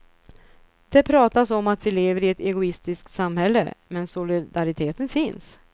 Det pratas om att vi lever i ett egoistiskt samhälle, men solidariteten finns.